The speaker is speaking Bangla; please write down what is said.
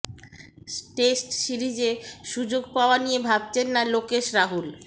টেস্ট সিরিজে সুযোগ পাওয়া নিয়ে ভাবছেন না লোকেশ রাহুল